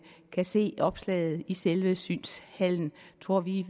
kan se opslaget i selve synshallen tror vi